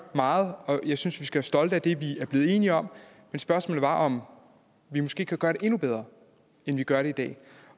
meget og jeg synes vi skal være stolte af det vi er blevet enige om men spørgsmålet er om vi måske kan gøre det endnu bedre end vi gør det i dag